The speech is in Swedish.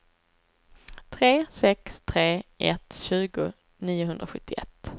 tre sex tre ett tjugo niohundrasjuttioett